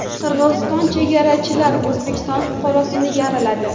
Qirg‘iziston chegarachilari O‘zbekiston fuqarosini yaraladi.